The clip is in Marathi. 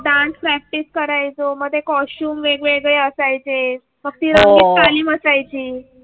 डान्स प्रॅक्टिस करायचंमध्ये कॉस्ट्यूम वेगवेगळे असायचे.